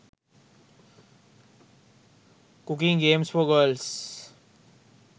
cooking games for girls